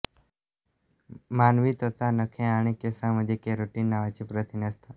मानवी त्वचा नखे आणि केसांमध्ये केराटिन नावाचे प्रथिन असते